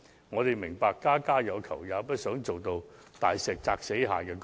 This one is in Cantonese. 我們明白家家有求，也不希望大石壓死蟹的局面。